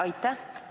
Aitäh!